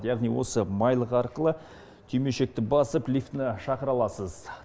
яғни осы майлық арқылы түймешекті басып лифтіні шақыра аласыз